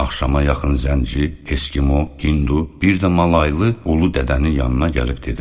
Axşama yaxın zənci, eskimo, hindu, bir də malaylı ulu dədənin yanına gəlib dedilər.